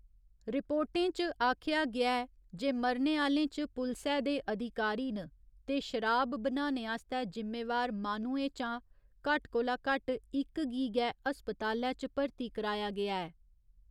रिपोर्टें च आखेआ गेआ ऐ जे मरने आह्‌लें च पुलसै दे अधिकारी न, ते शराब बनाने आस्तै जिम्मेवार माह्नुएं चा घट्ट कोला घट्ट इक गी गै अस्पतालै च भर्ती कराया गेआ ऐ।